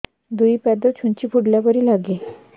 ଦୁଇ ପାଦ ଛୁଞ୍ଚି ଫୁଡିଲା ପରି ଲାଗେ